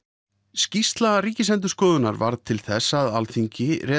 skýrsla Ríkisendurskoðunar varð til þess að Alþingi